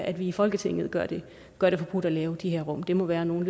at vi i folketinget gør det gør det forbudt at lave de her rum det må være noget